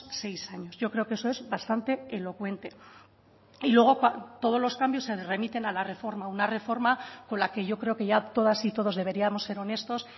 seis años yo creo que eso es bastante elocuente y luego todos los cambios se remiten a la reforma una reforma con la que yo creo que ya todas y todos deberíamos ser honestos